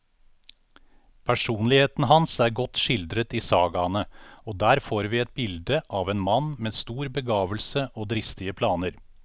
Personligheten hans er godt skildret i sagaene, og der får vi et bilde av en mann med stor begavelse og dristige planer.